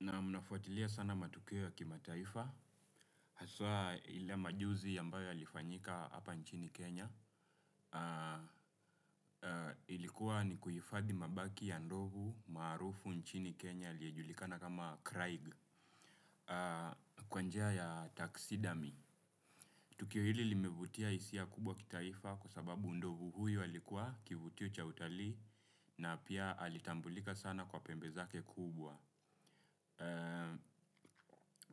Na mnafuatilia sana matukio ya kimataifa, haswa ile majuzi ambayo yalifanyika hapa nchini Kenya. Ilikuwa ni kuhifadhi mabaki ya ndovu maarufu nchini Kenya aliyejulikana kama Craig, kwa nija ya taksidami. Tukio hili limevutia hisia kubwa kitaifa kwa sababu ndovu huyu alikuwa kivutio cha utalii na pia alitambulika sana kwa pembe zake kubwa.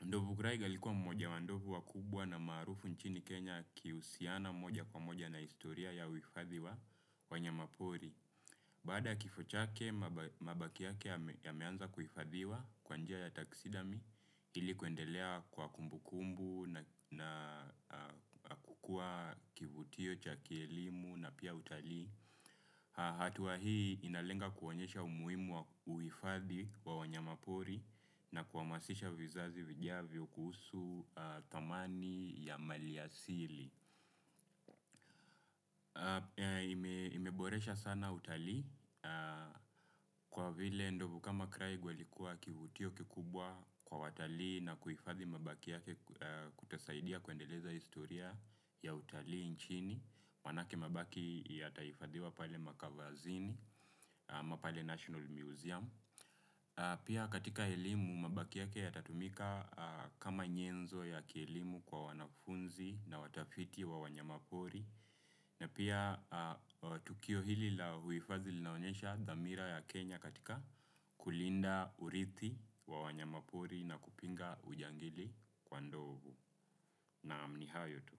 Ndovu Kraiga aikuwa mmoja wa ndovu wakubwa na maarufu nchini Kenya akihusiana moja kwa moja na historia ya uhifadhi wa wanyama pori. Baada ya kifo chake mabaki yake yameanza kuhifadhiwa kwa njia ya taksidami ili kuendelea kuwa kumbu kumbu na kukuwa kivutio cha kielimu na pia utalii. Hatua hii inalenga kuwaonyesha umuhimu wa uhifadhi wa wanyama pori na kuhamasisha vizazi vijavyo kuhusu thamani ya maliasili. Imeboresha sana utalii kwa vile ndovu kama Kraig walikuwa kivutio kikubwa kwa watalii na kuhifadhi mabaki yake kutasaidia kuendeleza historia ya utalii nchini. Manake mabaki yatahifadhiwa pale makavazini, ama pale National Museum. Pia katika elimu mabaki yake yatatumika kama nyenzo ya kielimu kwa wanafunzi na watafiti wa wanyamapori na pia tukio hili la uhifadhi linaonyesha dhamira ya Kenya katika kulinda urithi wa wanyamapori na kupinga ujangili kwa ndovu. Naam ni hayo tu.